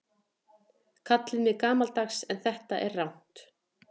Kallið mig gamaldags en þetta er rangt.